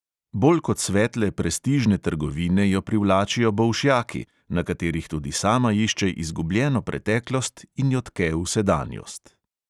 Bolj kot svetle prestižne trgovine jo privlačijo bolšjaki, na katerih tudi sama išče izgubljeno preteklost in jo tke v sedanjost.